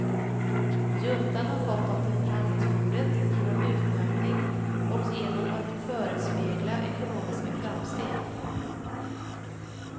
Juntan har fått dem till förhandlingsbordet genom utnötning och genom att förespegla ekonomiska framsteg.